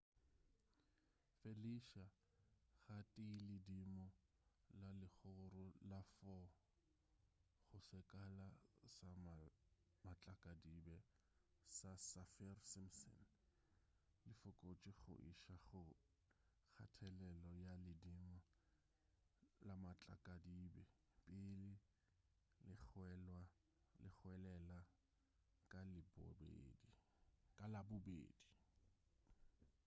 felicia ga tee ledimo la legoro la 4 go sekala sa matlakadibe sa saffir-simpson le fokotše go iša go kgathelelo ya ledimo la matlakadibe pele le hwelela ka labobedi